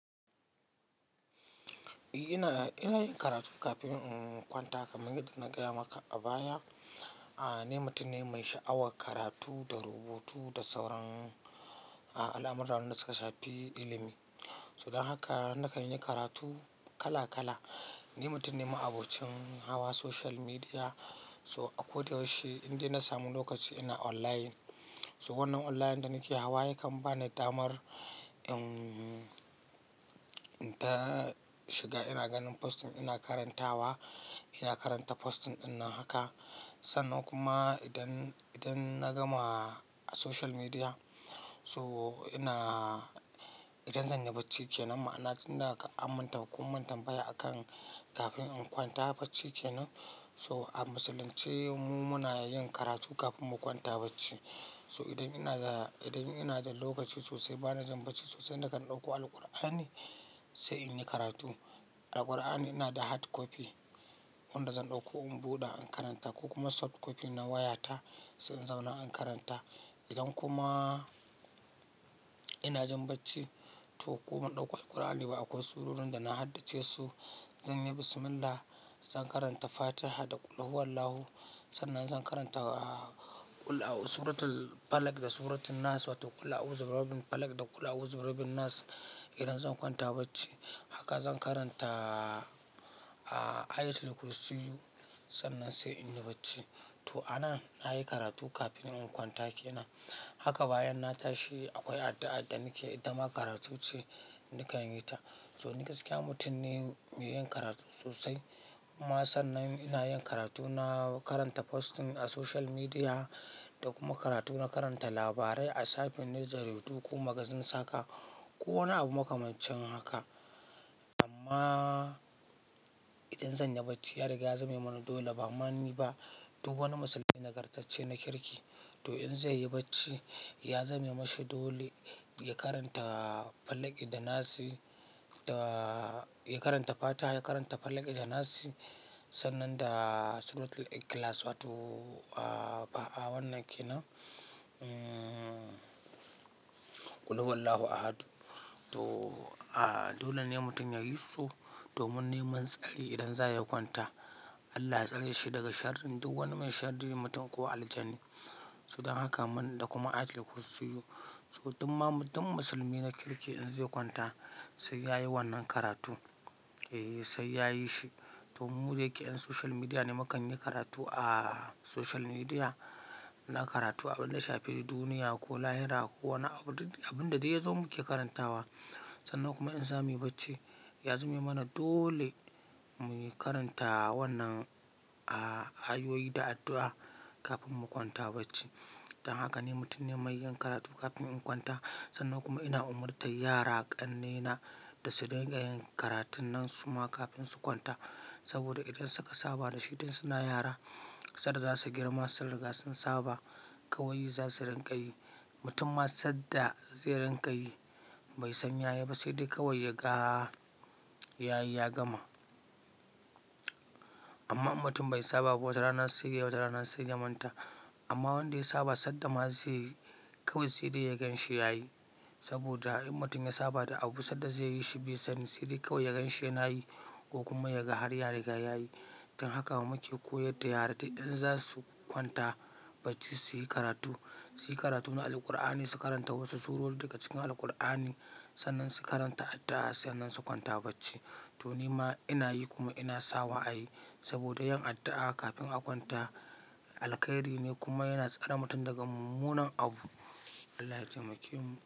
Eh ina, ina yin karatu kafin in kwanta kamar yadda na gaya maka a baya. A'a ni mutum ne mai sha'awar karatu da rubutu da sauran al'amuran da suka shafi ilimi. Don haka na kan yi karatu kala kala. Ni mutum ne ma abocin hawa social media, so a ko da yaushe inde na samu lokaci ina online. So wannan online da nake hawa yakan ba ni damar in, in ta shiga ina ganin posting ina karantawa, ina karanta posting ɗinnan haka. Sannan kuma idan, idan na gama a social media so ina, idan zan yi bacci kenan, ma'ana tunda ammin kun mun tambaya akan kafin in kwanta bacci kenan. To a musulunce mu muna yin karatu kafin mu kwanta bacci. To idan ina da, idan ina da lokaci sosai bana jin bacci sosai nakan ɗauko Alqur'ani sai in yi karatu. Da Kur'ani ina da hard copy wanda zan ɗauko in buɗe in karanta ko kuma soft copy na wayata sai in zauna in karanta. Idan kuma ina jin bacci to ko ban ɗauko Alqur'ani ba akwai surorin da na haddace su. Zanyi bis millah, zan karanta Fatiha da Qul huwallahu. Sannan zan karanta suratul Falak da suratul Nas wato Qul auzu birabbil Falak da Qul auzu birabbil nas. Idan zan kwanta bacci haka zan karanta ayatul kursiyu sannan sai in yi bacci. To a nan na yi karatu kafin in kwanta kenan. Haka bayan na tashi akwai addu'a da nake ita ma karatu ce nakan yi ta. To ni gaskiya mutum ne mai yin karatu sosai. Ma sannan ina yin karatu, na karanta posting a social media da kuma karatu na karanta labarai a shafin jaridu ko magazines haka ko wani abu makamancin haka. Amma idan zan yi bacci ya riga ya zame mana dole bama ni ba. Duk wani musulmi nagartacce na kirki to in zai yi bacci ya zame mashi dole ya karanta Falak da Nas, ya karanta Fatiha, ya karanta Falak da Nas sannan da suratul Ikhlas wato a'a wannan kenan Qul huwallahu ahadu. To dole ne mutum ya yi su domin neman tsari idan za ya kwanta. Allah ya tsare shi daga sharrin duk wani mai sharrin mutum ko aljani. To don haka da kuma ayatul kursiyu. To dukkan musulmi na kirki in zai kwanta sai ya yi wannan karatu, eh sai ya yi shi. To mu dayake 'yan social media ne, mu kan yi karatu a social media. Mu na karatu abin da shafi duniya ko lahira ko wani abu, abin da dai ya zo muke karantawa. Sannan kuma in za mu yi bacci, ya zame mana dole mu yi karanta wannan ayoyi da addu'a kafin mu kwanta bacci. Don haka ni mutum ne mai yin karatu kafin in kwanta. Sannan kuma ina umarta yara ƙannena da su rinƙa yin karatun nan su ma kafin su kwanta. Saboda idan suka saba da shi idan suna yara, sanda za su girma sun riga sun saba. Kawai za su rinƙa yi. Mutum ma sanda zai riƙa yi bai san yayi ba sai dai kawai ya ga yayi ya gama. Amma mutum bai saba ba wata rana sai ya yi wata rana sai ya manta. Amma wanda ya saba, sanda ma zaiyi kawai sai dai yagan shi yayi. Saboda in mutum ya saba da abu sanda zai yi shi bai sani sai dai kawai yagan shi yanayi ko kuma yaga har ya riga yayi. Don haka mu muke koyar da yara idan za su kwanta bacci su yi karatu, su yi karatu na Alqur'ani su karanta wasu surori daga cikin Alqur'ani. Sannan su karanta addu'a sannan su kwanta bacci. To ni ma ina yi kuma ina sawa a yi saboda yin addu'a kafin a kwanta alkhairi ne kuma yana tsare mutum daga mummunan abu. Allah ya temake mu.